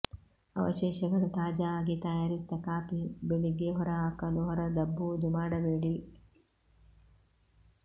ಅವಶೇಷಗಳು ತಾಜಾ ಆಗಿ ತಯಾರಿಸಿದ ಕಾಫಿ ಬೆಳಿಗ್ಗೆ ಹೊರಹಾಕಲು ಹೊರದಬ್ಬುವುದು ಮಾಡಬೇಡಿ